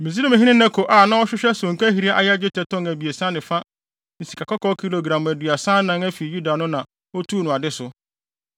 Misraimhene Neko a na ɔhwehwɛ sonkahiri a ɛyɛ dwetɛ tɔn abiɛsa ne fa ne sikakɔkɔɔ kilogram aduasa anan afi Yuda no na otuu no ade so.